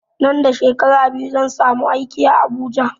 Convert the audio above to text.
Nan da shekara biyu zan samu aiki a habuja